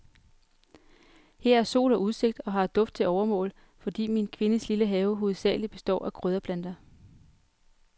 Her er sol og udsigt, og her er duft til overmål, fordi min kvindes lille have hovedsagelig består af krydderplanter.